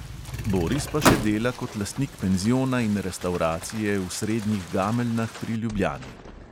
Boris pa še dela kot lastnik penziona in restavracije v srednjih gameljnah pri ljubljani.